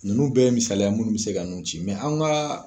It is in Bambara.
Nnnu bɛɛ ye misalaya munnu be se ka nun ci mɛ an ka